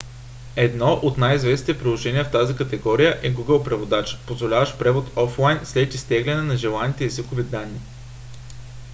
едно от най - известните приложения в тази категория е google преводач позволяващ превод офлайн след изтегляне на желаните езикови данни